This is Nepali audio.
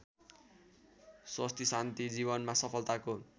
स्वस्तिशान्ति जीवनमा सफलताको